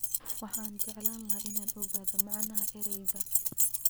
Waxaan jeclaan lahaa inaan ogaado macnaha erayga